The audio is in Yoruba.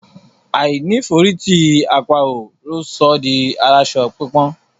Àìní ìforítì àparò ló sọ ọ́ di aláṣọ pípọ́n.